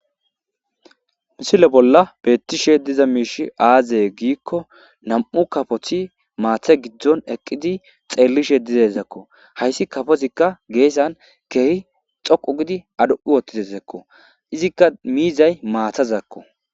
Misile bolla betishe diza mishy aze gikon nam'u kafot mata gidon eqid xelishe dizaysako , hays kafozika gesan keeh dhoqu gid aduq utidayasako izika mizat matazako